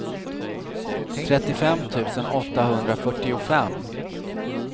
trettiofem tusen åttahundrafyrtiofem